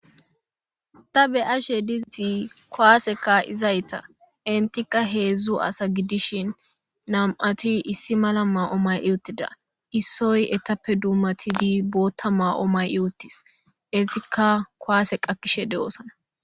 ta be ashe disi kowaaseka izayta intikka heedzdzu asa gidishin nam7ati issi mala ma7o may iwuttida issoy etappe dummatidi bootta maa7o may iwuttis esikka kowaase qakkishe de7oosana